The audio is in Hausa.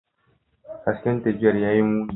Hasken tafiyar ya yi muni.